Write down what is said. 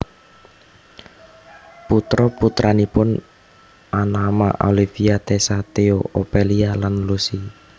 Putra putranipun anama Olivia Tessa Theo Ophelia lan Lucy